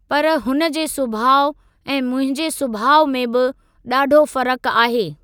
पर हुन जे सुभाउ ऐं मुंहिंजे सुभाउ मे बि ॾाढो फ़र्क आहे।